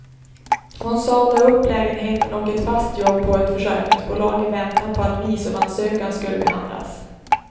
Hon sade upp lägenheten och ett fast jobb på ett försäkringsbolag i väntan på att visumansökan skulle behandlas.